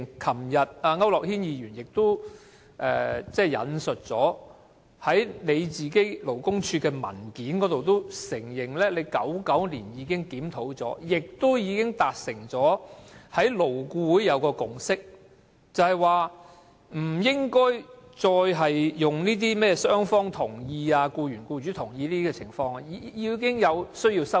區諾軒議員昨天亦表示，勞工處在文件中承認曾在1999年進行檢討，並已在勞工顧問委員會達成共識，不再建基於甚麼"雙方同意"、"僱員、僱主同意"等情況，同時有需要作出修訂。